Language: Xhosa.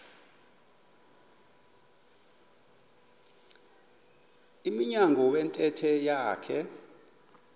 emnyango wentente yakhe